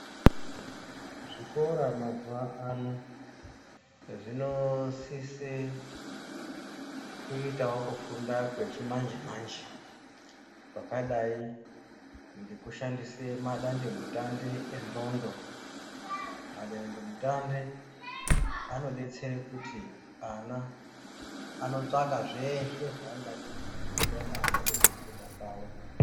Zvikora mazuva ano zvino sise kuitawo kufunda kwechi manje manje kwakadai ngeku shandise madandi mutandi e ndxondo ma dandi mutandi ano detsere kuti ana ano tsvaka zveshe zvaa angede kuziya maringe ngeku funda kwavo.